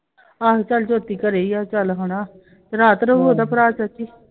ਆਹੋ ਚੱਲ ਜਯੋਤੀ ਘਰੇ ਈ ਆ ਚੱਲ ਹੁਣl ਰਾਤ ਰਹੂ ਉਹਦਾ ਭਰਾ ਸ਼ਸ਼ੀ?